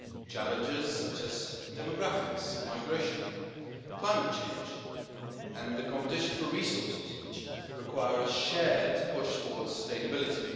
Challenges such as demographics and migration, climate change and the competition for resources, which require a shared push towards sustainability.